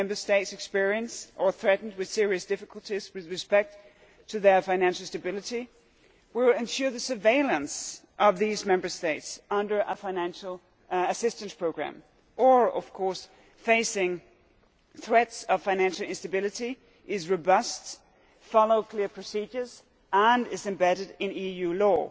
States experiencing or threatened with serious difficulties with respect to their financial stability will ensure that surveillance of those Member States under a financial assistance programme or, of course, facing threats of financial instability, is robust, follows clear procedures and is embedded in EU law.